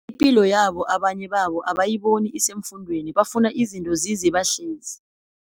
ipilo yabo abanye babo abayiboni isefundweni bafuna izinto zize bahlezi.